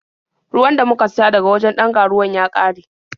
Ruwan da muka siya daga wajen ɗan ga-ruwan ya ƙare.